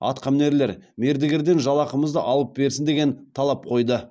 атқамінерлер мердігерден жалақымызды алып берсін деген талап қойды